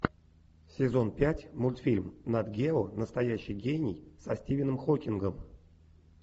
сезон пять мультфильм нат гео настоящий гений со стивеном хокингом